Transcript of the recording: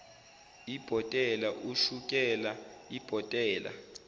ibhotela ushukela ibhotela